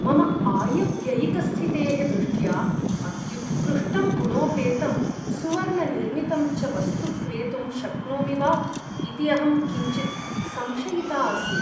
मम आयव्ययिकस्थितेः दृष्ट्या, अत्युत्कृष्टं गुणोपेतं सुवर्णनिर्मितं च वस्तु क्रेतुं शक्नोमि वा इति अहं किञ्चित् संशयिता अस्मि।